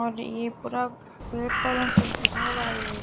और ये पूरा पेड़ पौधों से भरा हुआ है ये--